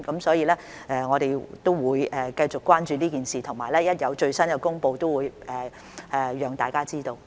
所以，我們會繼續關注這件事，而且一旦有最新消息，便會讓大家知道。